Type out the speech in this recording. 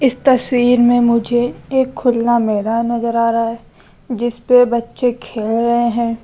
इस तस्वीर में मुझे एक खुल्ला मैदान नजर आ रहा है जिस पे बच्चे खेल रहे है।